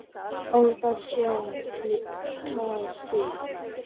Óþarfi sé að flýta sér.